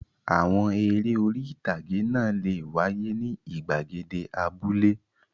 Àwọn eré orí-ìtàgé náà le wáyé ní ìgbàgede abúlé.